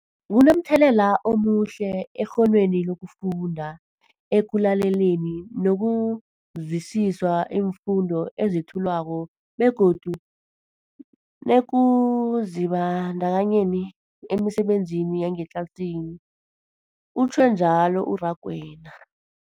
Kunomthelela omuhle ekghonweni lokufunda, ekulaleleni nokuzwisiswa iimfundo ezethulwako begodu nekuzibandakanyeni emisebenzini yangetlasini, utjhwe njalo u-Rakwena.